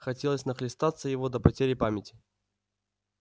хотелось нахлестаться его до потери памяти